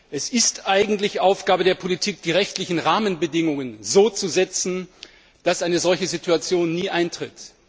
Es ist eigentlich Aufgabe der Politik, die rechtlichen Rahmenbedingungen so zu setzen, dass eine solche Situation nie eintritt.